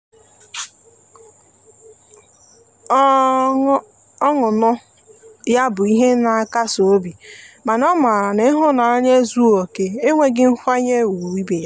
ọnụnọ ya bụ ihe na nkasi obi mana o mara na ihunanya ezughi oke na-enweghi nkwanye ugwu ibe ya.